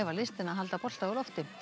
listina að halda bolta á lofti